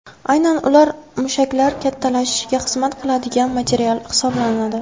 Aynan ular mushaklar kattalashishiga xizmat qiladigan material hisoblanadi.